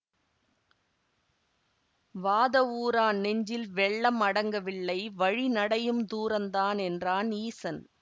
வாதவூரான் நெஞ்சில் வெள்ளம் அடங்கவில்லை வழிநடையும் தூரந்தான் என்றான் ஈசன்